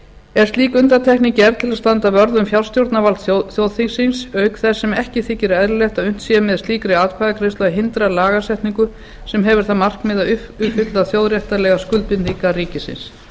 er slík undantekning gerð til að standa vörð um fjárstjórnarvald þjóðþingsins auk þess sem ekki þykir eðlilegt að unnt sé með slíkri atkvæðagreiðslu að hindra lagasetningu sem hefur það markmið að uppfylla þjóðréttarlegar skuldbindingar ríkisins